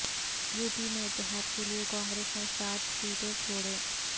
you P میں اتحاد کیلئے کانگریس نے سات سیٹیں چھوڑیں